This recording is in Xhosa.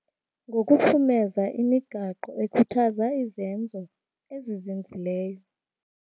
Ngokuphumeza imigaqo ekhuthaza izenzo ezizinzileyo.